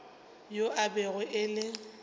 yo e bego e le